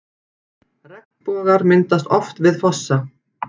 Regnbogar myndast oft við fossa.